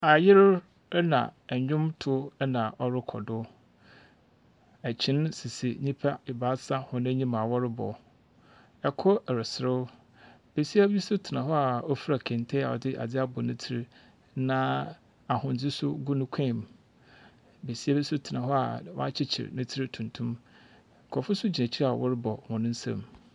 Ayer na ndwomtow na ɔrokɔ do. Kyen sisi nyipa ebaasa hɔn enyim a wɔrebɔ. Kor reserew. Besia bi nso tena hɔ a ɔfura kente a ɔdze adze abɔ ne tirim, na ahwendze nso gu ne kɔn mu. Besia bi nso tena hɔ a wakyekyer ne ti tuntum. Nkurɔfp nso gyina akyir a wɔrebɔ wɔn nsam.